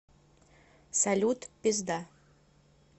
салют пизда